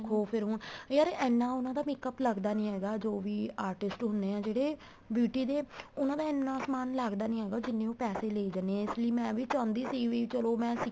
ਫ਼ੇਰ ਹੁਣ ਯਾਰ ਇੰਨਾ ਉਹਨਾ ਦਾ makeup ਲੱਗਦਾ ਨਹੀਂ ਹੈਗਾ ਜੋ ਵੀ artist ਹੁੰਦੇ ਏ ਜਿਹੜੇ beauty ਦੇ ਉਹਨਾ ਦਾ ਇੰਨਾ ਸਮਾਨ ਲੱਗਦਾ ਨਹੀਂ ਹੈਗਾ ਉਹ ਜਿੰਨੇ ਉਹ ਪੈਸੇ ਲੇ ਜਾਂਦੇ ਏ ਇਸ ਲਈ ਮੈਂ ਵੀ ਚਾਹੁੰਦੀ ਸੀ ਵੀ ਚਲੋਂ ਮੈਂ